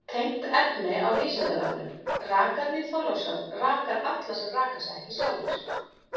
Tengt efni á Vísindavefnum: Rakarinn í Þorlákshöfn rakar alla sem raka sig ekki sjálfir.